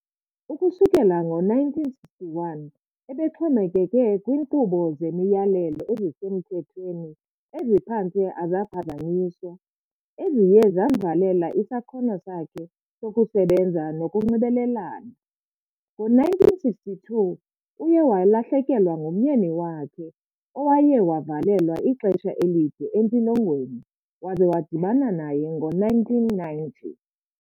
Ukusukela ngo-1961 ebexhomekeke kwinqubo zemiyalelo ezisemthethweni eziphantse azaphazanyiswa, eziye zamvalela isakhono sakhe sokusebenza nokunxibelelana. Ngo-1962 uye walahlekelwa ngumnyeni wakhe owayevalelwe ixesha elide entilongweni waze wadibana naye ngo-1990.